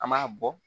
An b'a bɔ